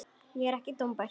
Ég er ekki dómbær.